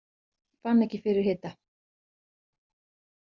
Fann ekki fyrir hita